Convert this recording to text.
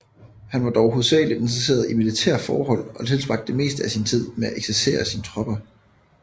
Han var dog hovedsageligt interesseret i militære forhold og tilbragte det meste af sin tid med at eksercere sine tropper